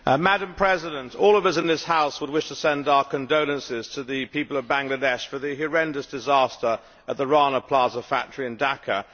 Madam President, all of us in this House would wish to send our condolences to the people of Bangladesh following the horrendous disaster at the Rana Plaza factory in Dhaka.